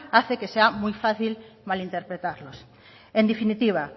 hace que sea muy fácil malinterpretarlos en definitiva